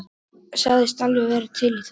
Sagðist alveg vera til í það.